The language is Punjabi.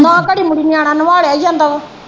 ਨਾ ਘੜੀ ਮੁੜੀ ਨਵਾਲਿਆ ਈ ਜਾਂਦਾ ਵਾ।